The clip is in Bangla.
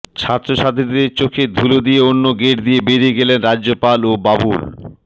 ছাত্রছাত্রীদের চোখে ধুলো দিয়ে অন্য গেট দিয়ে বেরিয়ে গেলেন রাজ্যপাল ও বাবুল